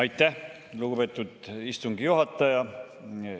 Aitäh, lugupeetud istungi juhataja!